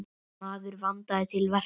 Maður vandaði til verka.